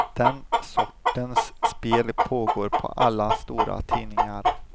Den sortens spel pågår på alla stora tidningar.